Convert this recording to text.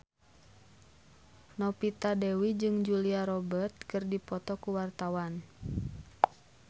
Novita Dewi jeung Julia Robert keur dipoto ku wartawan